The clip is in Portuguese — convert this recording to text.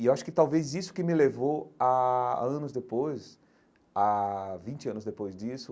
E eu acho que talvez isso que me levou a anos depois, a vinte anos depois disso,